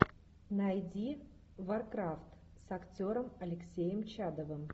найди варкрафт с актером алексеем чадовым